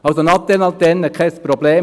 Also: Natel-Antenne, kein Problem.